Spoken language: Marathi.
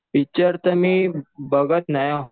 पिक्चर तर मी बघत नाही